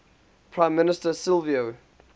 prime minister silvio